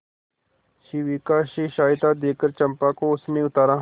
शिविका से सहायता देकर चंपा को उसने उतारा